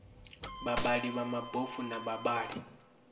vhavhali vha mabofu na vhavhali